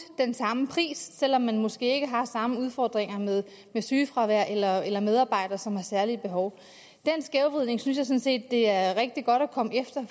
den samme pris selv om den måske ikke har samme udfordringer med sygefravær eller medarbejdere som har særlige behov den skævvridning synes jeg sådan set det er rigtig godt at komme efter